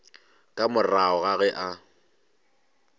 ka morago ga ge a